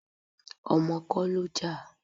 Ọmọ kọ́ ló jà.